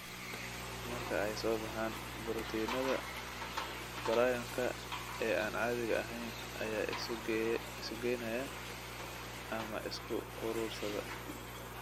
Marka ay soo baxaan, borotiinada prion-ka ee aan caadiga ahayn ayaa isu geynaya, ama isku urursada.